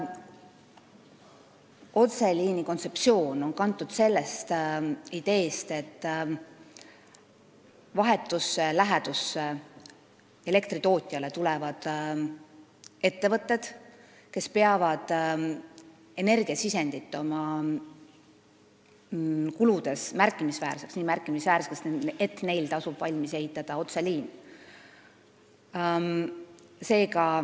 Otseliini kontseptsioon on kantud sellest ideest, et elektritootja vahetusse lähedusse tulevad ettevõtted, kes peavad energiasisendit oma kuludes märkimisväärseks – nii märkimisväärseks, et neil tasub valmis ehitada otseliin.